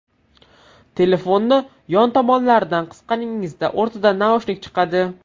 Telefonni yon tomonlaridan qisganingizda o‘rtadan naushnik chiqadi.